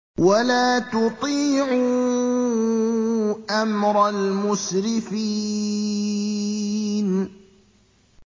وَلَا تُطِيعُوا أَمْرَ الْمُسْرِفِينَ